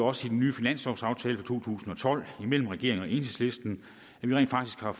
også i den nye finanslovaftale for to tusind og tolv mellem regeringen og enhedslisten at vi rent faktisk har